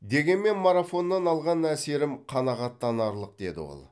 дегенмен марафоннан алған әсерім қанағаттанарлық деді ол